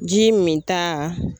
Ji minta.